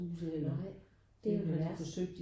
Nej det er jo det værste